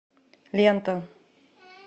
лента